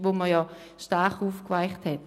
Dieses hat man stark aufgeweicht.